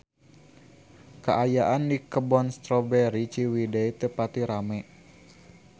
Kaayaan di Kebun Strawberry Ciwidey teu pati rame